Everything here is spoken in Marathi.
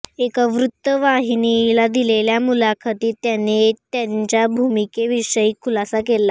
एका वृत्तवाहिनीला दिलेल्या मुलाखतीत त्यांनी त्यांच्या भूमिकेविषयी खुलासा केला